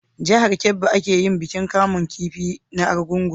Jahar kebbi a ke yin bikin kamun kifi na argungu